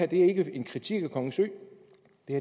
det ikke en kritik af kongens ø